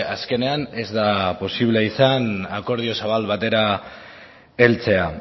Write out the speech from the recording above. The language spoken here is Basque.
azkenean ez da posible izan akordio zabal batera heltzea